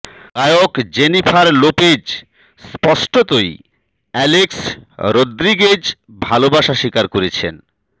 গায়ক Jennifer Lopez স্পষ্টতই Alex Rodriguez ভালবাসা স্বীকার করেছেন